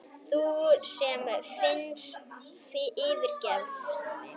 Þú sem yfirgafst mig.